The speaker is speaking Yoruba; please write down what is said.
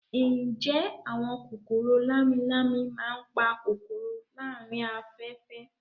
Ǹjẹ́ àwọn kòkòrò lámi-lámi máa ń pa kòkòrò láàárín afẹ́fẹ́